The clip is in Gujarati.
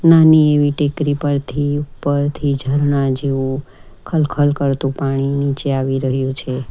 નાની એવી ટેકરી પરથી ઉપરથી ઝરણા જેવું ખલખલ કરતું પાણી નીચે આવી રહ્યું છે.